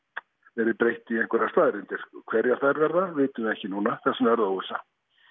verið breytt í einhverjar staðreyndir hverjar þær verða vitum við ekki núna vegna er óvissa